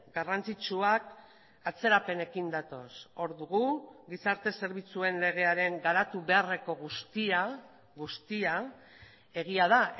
garrantzitsuak atzerapenekin datoz hor dugu gizarte zerbitzuen legearen garatu beharreko guztia guztia egia da